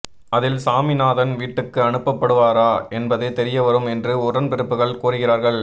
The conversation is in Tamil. அதில் சாமிநாதன் வீட்டுக்கு அனுப்பப் படுவாரா என்பது தெரியவரும் என்று உடன்பிறப்புகள் கூறுகிறார்கள்